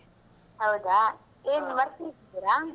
ಹೌದಾ ಏನ್ work ಅಲ್ಲಿದ್ದೀರಾ?